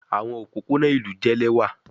Awọn opopona ilu jẹ lẹwa